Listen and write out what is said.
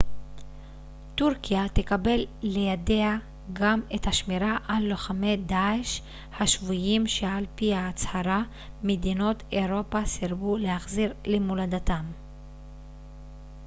טורקיה תקבל לידיה גם את השמירה על לוחמי דאעש השבויים שעל פי ההצהרה מדינות אירופה סירבו להחזיר למולדתם